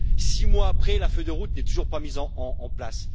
Six mois après, la feuille de route n'est toujours pas mise en place.